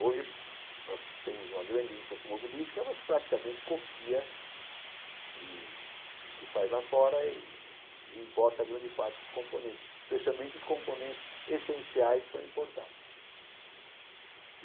Hoje, nós temos uma grande indústria automobilística, mas praticamente copia e o que faz lá fora e e importa grande parte dos componentes, especialmente os componentes essenciais são importados.